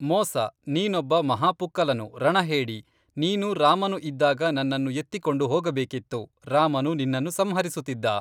ಮೋಸ, ನೀನೊಬ್ಬ ಮಹಾಪುಕ್ಕಲನು, ರಣಹೇಡಿ, ನೀನು ರಾಮನು ಇದ್ದಾಗ ನನ್ನನ್ನು ಎತ್ತಿಕೊಂಡು ಹೋಗಬೇಕಿತ್ತು, ರಾಮನು ನಿನ್ನನ್ನು ಸಂಹರಿಸುತ್ತಿದ್ದ